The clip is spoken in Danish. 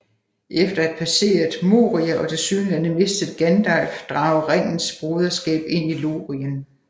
Efter at have passeret Moria og tilsyneladende mistet Gandalf drager Ringens Broderskab ind i Lorien